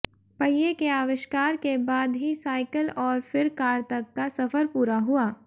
पहिए के आविष्कार के बाद ही साइकल और फिर कार तक का सफर पूरा हुआ